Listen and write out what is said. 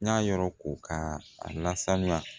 N y'a yɔrɔ ko ka a lasanuya